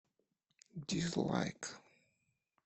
дизлайк